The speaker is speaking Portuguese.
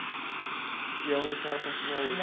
E é onde a senhora continua hoje?